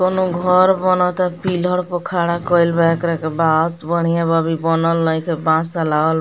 कोनो घोर बोनोता पिलर पर खड़ा कइल बा एकरा के बाद बढ़िया बा अभी बनल नइखे बॉस आ लगल --